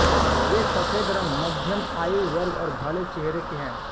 वे सफेद रंग मध्यम आयु वर्ग और भले चेहरे के हैं